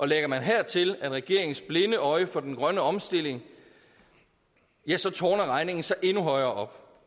lægger man hertil regeringens blinde øje for den grønne omstilling ja så tårner regningen sig endnu højere